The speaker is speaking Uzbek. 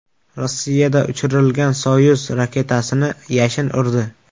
Rossiyada uchirilgan Soyuz raketasini yashin urdi .